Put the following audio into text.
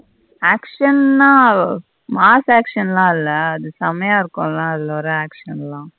action ன்ன mass action ல இல்ல அது செமைய இருக்கும் அத அது ஒரு action தா.